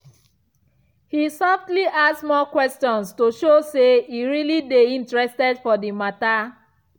he softly ask more questions to show say e really dey interested for the matter.